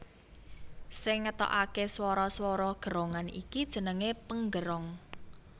Sing ngetokake swara swara gerongan iki jenenge penggerong